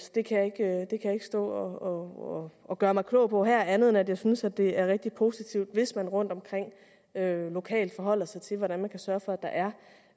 det kan jeg ikke stå og og gøre mig klog på her andet end at jeg synes det er rigtig positivt hvis man rundtomkring lokalt forholder sig til hvordan man kan sørge for